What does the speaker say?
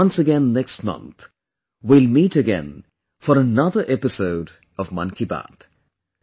Once again next month we will meet again for another episode of 'Mann Ki Baat'